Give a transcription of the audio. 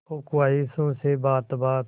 हो ख्वाहिशों से बात बात